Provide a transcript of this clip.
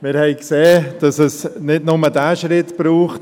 Wir haben gesehen, dass es nicht nur diesen Schritt braucht;